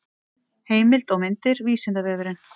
heimild og myndir vísindavefurinn